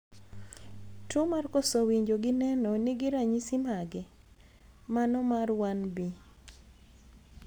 Tuo mar koso winjo gi neno nigi ranyisi mage, mano mar 1B?